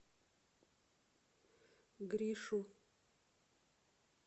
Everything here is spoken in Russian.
гришу